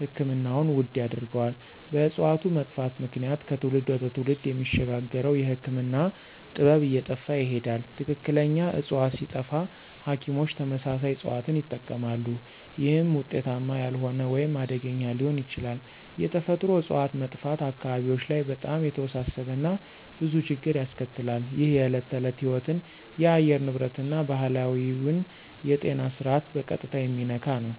ሕክምናውን ውድ ያደርገዋል። በእጽዋቱ መጥፋት ምክንያት ከትውልድ ወደ ትውልድ የሚሸጋገረው የህክምና ጥበብ እየጠፋ ይሄዳል። ትክክለኛ ዕፅዋት ሲጠፋ ሐኪሞች ተመሳሳይ እጽዋትን ይጠቀማሉ፣ ይህም ውጤታማ ያልሆነ ወይም አደገኛ ሊሆን ይችላል። የተፈጥሮ እጽዋት መጥፋት አካባቢዎች ላይ በጣም የተወሳሰበ እና ብዙ ችግር ያስከትላል። ይህ የዕለት ተዕለት ሕይወትን፣ የአየር ንብረትን እና ባህላዊውን የጤና ስርዓት በቀጥታ የሚነካ ነው።